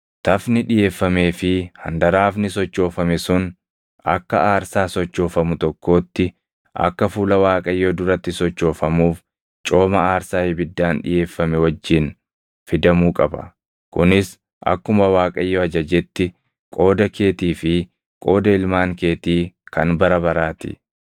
Tafni dhiʼeeffamee fi handaraafni sochoofame sun akka aarsaa sochoofamu tokkootti akka fuula Waaqayyoo duratti sochoofamuuf cooma aarsaa ibiddaan dhiʼeeffame wajjin fidamuu qaba; kunis akkuma Waaqayyo ajajetti qooda keetii fi qooda ilmaan keetii kan bara baraa ti.”